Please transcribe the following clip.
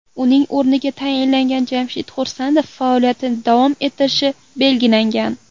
Uning o‘rniga tayinlangan Jamshid Xursandov faoliyatini davom ettirishi belgilangan.